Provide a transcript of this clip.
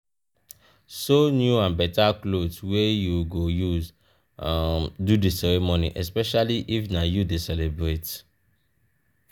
sew new and better clothes wey you go use um do di ceremony especially if na you de celebrate